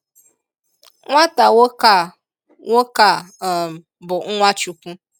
Nwáta nwoke a nwoke a um bụ nwa Chúkwú